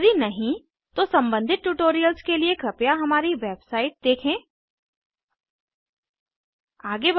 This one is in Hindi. यदि नहीं तो संबंधित ट्यूटोरियल्स के लिए कृपया हमारी वेबसाइट httpspoken tutorialorg देखें